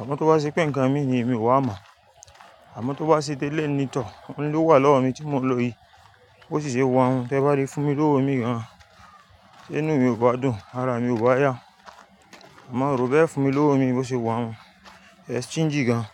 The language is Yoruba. Àmọ́ tó bá ṣe pé ǹkan mi ni, èmi ò wá mọ̀. Àmọ́ tó bá ṣe tẹ́lẹ̀ ní tọ̀, òun ló wà lọ́wọ́ mi tí mò ń lo yìí, bó sì ṣe wa un, tẹ bá lè fún mi lówó mii gan-an, ṣé inú mi ò bá dùn? Ara mi ò bá yá, àmọ́ un rò ó bẹ́e fún mi lówó mii bó ṣe wa un, e stingy gan.